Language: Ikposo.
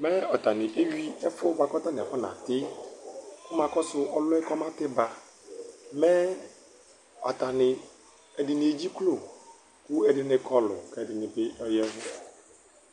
Mɛ atanɩ éwi ɛfuɛ ƙatanɩ aƒʊaŋatɩ, ƙʊma ƙɔsʊ ɔlɩɛ ƙɔmatɩ ɓa mɛ atanɩ , ɛɖɩŋɩ éɖjɩklo ƙʊ ɛɖɩŋɩ ƙɔlʊ, ƙɛɖɩŋɩ aƴaʋʊ